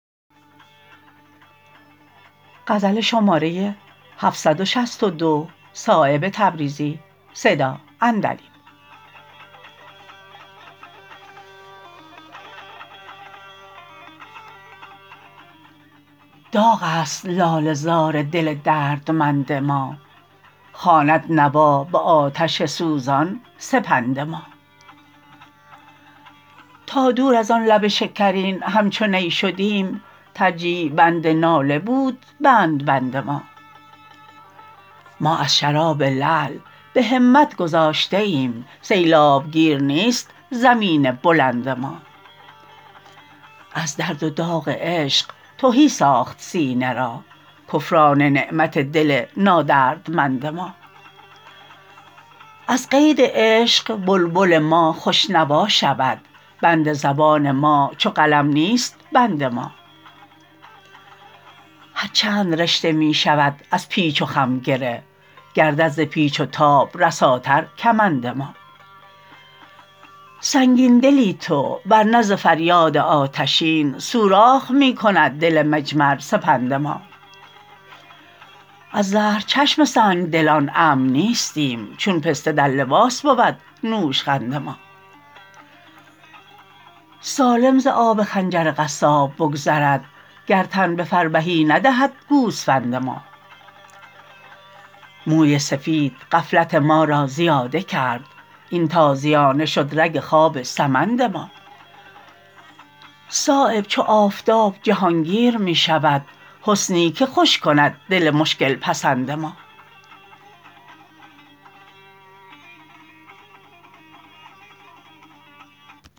داغ است لاله زار دل دردمند ما خواند نوا به آتش سوزان سپند ما تا دور ازان لب شکرین همچو نی شدیم ترجیع بند ناله بود بندبند ما ما از شراب لعل به همت گذشته ایم سیلاب گیر نیست زمین بلند ما از درد و داغ عشق تهی ساخت سینه را کفران نعمت دل نادردمند ما از قید عشق بلبل ما خوش نوا شود بند زبان ما چو قلم نیست بند ما هر چند رشته می شود از پیچ و خم گره گردد ز پیچ و تاب رساتر کمند ما سنگین دلی تو ورنه ز فریاد آتشین سوراخ می کند دل مجمرسپند ما از زهر چشم سنگدلان امن نیستیم چون پسته در لباس بود نوشخند ما سالم ز آب خنجر قصاب بگذرد گر تن به فربهی ندهد گوسفند ما موی سفید غفلت ما را زیاده کرد این تازیانه شد رگ خواب سمند ما صایب چو آفتاب جهانگیر می شود حسنی که خوش کند دل مشکل پسند ما